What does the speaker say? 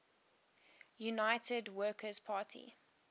united workers party